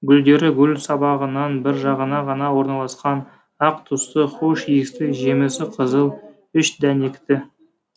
гүлдері гүл сабағынан бір жағына ғана орналасқан ақ түсті хош иісті жемісі қызыл үш дәнекті